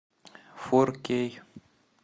фор кей